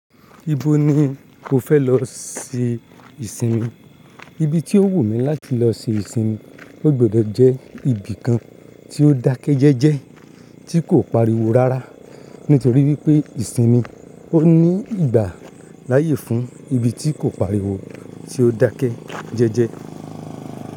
Ibo ni o fẹ lọ ṣe ìsinmi? Ibi tí ó wù mí láti lọ ṣe ìsinmi ó gbọdọ̀ jẹ́ ibi kan tí ó dákẹ jẹ́jẹ́ tí kò pariwo rárá nítorí wípé ìsinmi ó ní ìgbà láàyè fún ibi tí kò pariwo tí ó dákẹ jẹ́jẹ́.